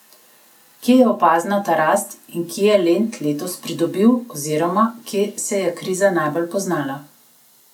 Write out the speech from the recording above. Kje je opazna ta rast in kje je Lent letos pridobil oziroma kje se je kriza najbolj poznala?